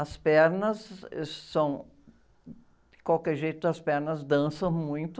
As pernas são... De qualquer jeito, as pernas dançam muito.